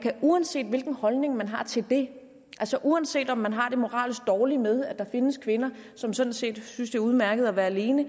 uanset hvilken holdning man har til det altså uanset om man har det moralsk dårligt med at der findes kvinder som sådan set synes er udmærket at være alene